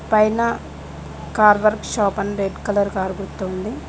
పైన car work shop అని red colour car గుర్తు ఉంది.